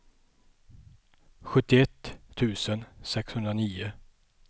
sjuttioett tusen sexhundranio